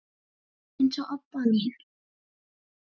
eins og Obba mín.